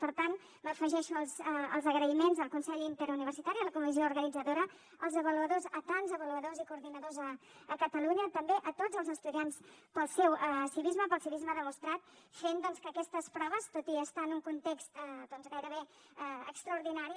per tant m’afegeixo als agraïments al consell interuniversitari a la comissió organitzadora als avaluadors a tants avaluadors i coordinadors a catalunya també a tots els estudiants pel seu civisme pel civisme demostrat fent doncs que aquestes proves tot i estar en un context gairebé extraordinari